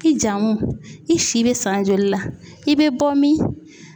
I jamu i si bɛ san joli la i bɛ bɔ min?